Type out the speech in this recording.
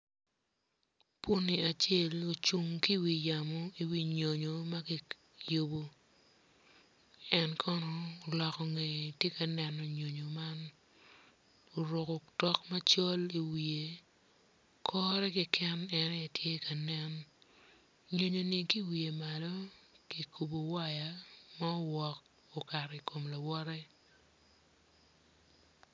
Puni acel ocung ki iwi yamo iwi nyonyo ma kiyubo en kono oloko ngeye tye ka neno nyonyo man oruko otok macol iwiye kore keken en aye tye ka nen nyonyoni ki iwiye malo kikubo waya ma owok okato i kom lawote.